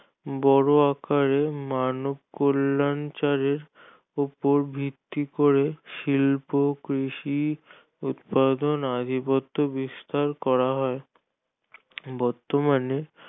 বড় আকারে মানব কল্যাণ চারের ওপর ভিত্তি করে শিল্প কৃষি উৎপাদন আধিপত্য বিস্তার হয় বর্তমানে